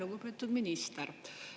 Lugupeetud minister!